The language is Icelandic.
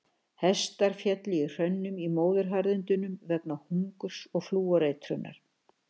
Hestar féllu í hrönnum í Móðuharðindunum vegna hungurs og flúoreitrunar.